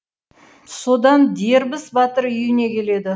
содан дербіс батыр үйіне келеді